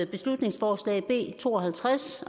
beslutningsforslag b to og halvtreds